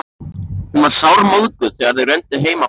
Hún var sármóðguð þegar þau renndu heim að Bakka.